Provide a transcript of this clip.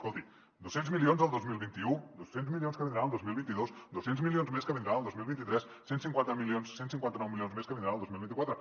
escolti dos cents milions el dos mil vint u dos cents milions que vindran el dos mil vint dos dos cents milions més que vindran el dos mil vint tres cent i cinquanta nou milions més que vindran el dos mil vint quatre